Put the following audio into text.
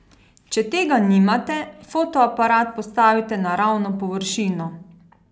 Če tega nimate, fotoaparat postavite na ravno površino.